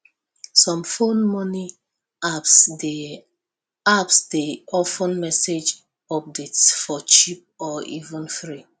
some phone money apps dey apps dey offer message updates for cheap or even free